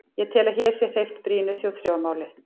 Ég tel, að hér sé hreyft brýnu þjóðþrifamáli.